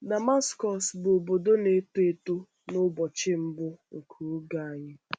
DAMASKỌS bụ obodo na-eto eto n’ụbọchị mbụ nke Oge Anyi.